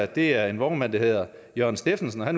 det er en vognmand der hedder jørgen steffensen og